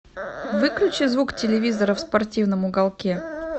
выключи звук телевизора в спортивном уголке